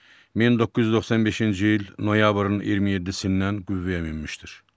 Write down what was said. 1995-ci il noyabrın 27-dən qüvvəyə minmişdir.